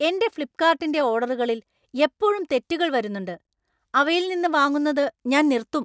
എന്‍റെ ഫ്ലിപ്പ്കാർട്ടിന്‍റെ ഓർഡറുകളിൽ എപ്പോഴും തെറ്റുകൾ വരുന്നുണ്ട് , അവയിൽ നിന്ന് വാങ്ങുന്നത് ഞാൻ നിർത്തും.